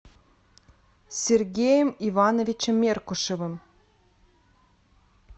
сергеем ивановичем меркушевым